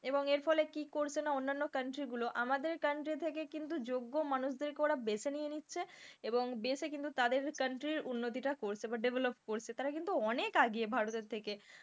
এবং এর ফলে কি করছে না অন্যান্য country গুলো আমাদের country থেকে কিন্তু যোগ্য মানুষ দের কে ওরা বেছে নিয়ে নিচ্ছে এবং দেশে কিন্তু তাদের country উন্নতিটা করছে বা develop করছে, তারা কিন্তু অনেক আগিয়ে ভারতের থেকে,